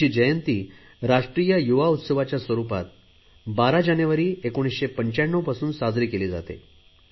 त्यांची जयंती राष्ट्रीय युवा उत्सवाच्या स्वरुपात 12 जानेवारी 1995 पासून साजरी केली जाते